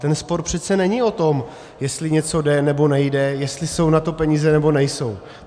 Ten spor přece není o tom, jestli něco jde, nebo nejde, jestli jsou na to peníze, nebo nejsou.